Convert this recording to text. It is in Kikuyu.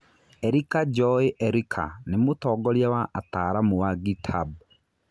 Erika Njoĩ Erika nĩ mũtongoria wa ataaramu wa NgitHab.